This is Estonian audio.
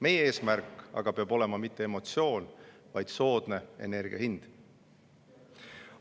Meie eesmärk aga peab olema mitte emotsioon, vaid soodne energia hind.